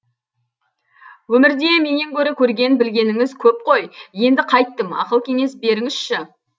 өмірде менен гөрі көрген білгеніңіз көп қой енді қайттім ақыл кеңес беріңізші